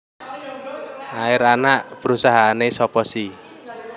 Air anak perusahaane sopo si